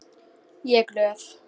Ég er glöð.